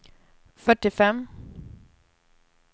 fyrtiofem